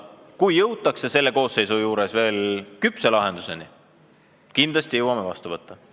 Kui jõutakse veel selle koosseisu ajal küpse lahenduseni, siis kindlasti jõuame seaduse vastu võtta.